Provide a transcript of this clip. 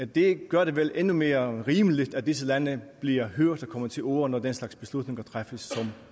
det gør det vel endnu mere rimeligt at disse lande bliver hørt og kommer til orde når den slags beslutninger træffes